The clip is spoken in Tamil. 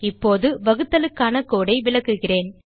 இப்போது வகுத்தலுக்கான கோடு ஐ விளக்குகிறேன்